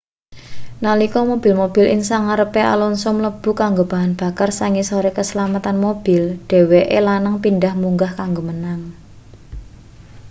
nalika mobil-mobil ing sangarepe alonso mlebu kanggo bahan bakar sangisore keslametan mobil dheweke lanang pindhah munggah kanggo menang